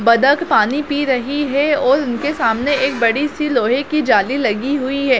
बतख पानी पी रही है और उनके सामने एक बड़ी-सी लोहे की जाली लगी हुई है।